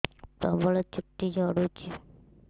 ପ୍ରବଳ ଚୁଟି ଝଡୁଛି